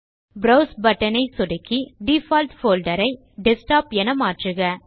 browse button ஐ சொடுக்கி default folder ஐ டெஸ்க்டாப் என மாற்றுக